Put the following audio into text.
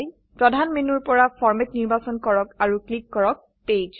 প্ৰধান মেনুৰ পৰা ফৰমেট নিৰ্বাচন কৰক আৰু ক্লিক কৰক পেজ